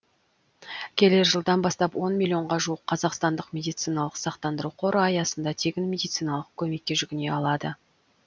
келер жылдан бастап он миллионға жуық қазақстандық медициналық сақтандыру қоры аясында тегін медициналық көмекке жүгіне алады